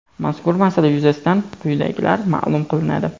mazkur masala yuzasidan quyidagilar maʼlum qilinadi.